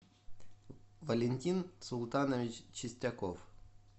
валентин султанович чистяков